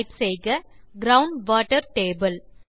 type செய்க ground water table